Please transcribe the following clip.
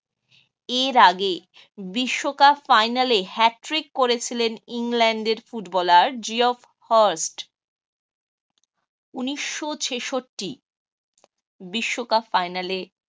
এর আগে বিশ্বকাপ final এ hat trick করেছিলেন ইংল্যান্ডের footballer উনিশ শ ছেষট্টি বিশ্বকাপ ফাইনালে